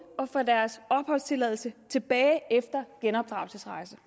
at få deres opholdstilladelse tilbage efter genopdragelsesrejser